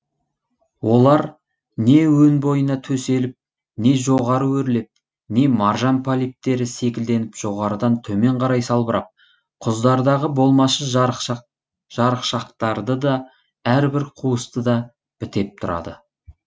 олар не өн бойына төселіп не жоғары өрлеп не маржан полиптері секілденіп жоғарыдан төмен қарай салбырап құздардағы болмашы жарықшақтарды да әрбір қуысты да бітеп тұрады